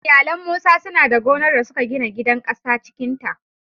Iyalan Musa suna da gonar da suka gina gidan ƙasa cikin ta